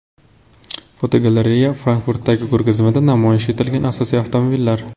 Fotogalereya: Frankfurtdagi ko‘rgazmada namoyish etilgan asosiy avtomobillar.